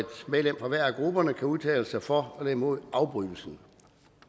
medlem fra hver af grupperne kan udtale sig for eller imod afbrydelsen